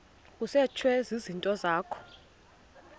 kusetshwe izinto zakho